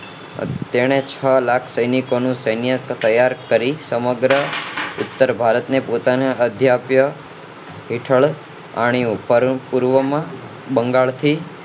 તેણે છ લાખ સૈનિકો નું સૈન્ય તૈયાર કરી સમગ્ર ભારત ને પોતાનો અધ્યાપક હેઠળ આણ્યું પરમપૂર્વ માં બંગાળથી